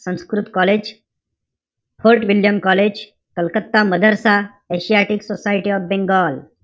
Sanskrit College. Fort William College, Calcutta Madrasa, Asiatic Society of Bengal.